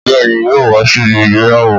Bẹ́ẹ̀ni yo wá síbi ìgbéyàwó